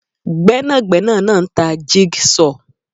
Gbẹ́nàgbẹ́nà náà ń tà jig saw